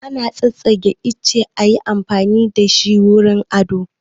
Ana tsassaƙe itace ayi amfani da ita wurin ado